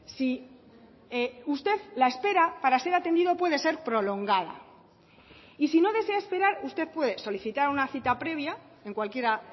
si usted la espera para ser atendido puede ser prolongada y si no desea esperar usted puede solicitar una cita previa en cualquiera